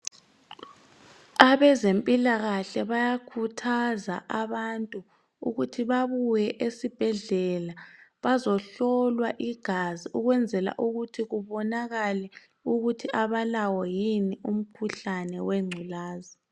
Abezemphilakahle bayakuthaza abantu ukuthi babuye esibhedlela, bazohlolwa igazi ukwenzela ukuthi kubonakale ukuthi abalawo yini umkhuhlane wegculaza.